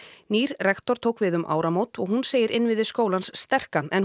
nýr rektor tók við um áramót hún segir innviði skólans sterka en